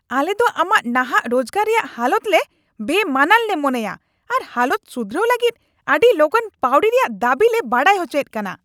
ᱟᱞᱮ ᱫᱚ ᱟᱢᱟᱜ ᱱᱟᱦᱟᱜ ᱨᱳᱡᱜᱟᱨ ᱨᱮᱭᱟᱜ ᱦᱟᱞᱚᱛ ᱞᱮ ᱵᱮᱼᱢᱟᱱᱟᱱ ᱞᱮ ᱢᱚᱱᱮᱭᱟ ᱟᱨ ᱦᱟᱞᱚᱛ ᱥᱩᱫᱷᱨᱟᱹᱣ ᱞᱟᱹᱜᱤᱫ ᱟᱹᱰᱤ ᱞᱚᱜᱚᱱ ᱯᱟᱹᱣᱲᱤ ᱨᱮᱭᱟᱜ ᱫᱟᱵᱤ ᱞᱮ ᱵᱟᱰᱟᱭ ᱚᱪᱚᱭᱮᱫ ᱠᱟᱱᱟ ᱾